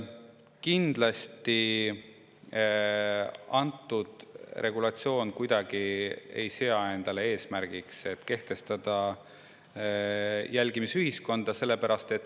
Kindlasti ei sea antud regulatsioon kuidagi endale eesmärgiks kehtestada jälgimisühiskonda.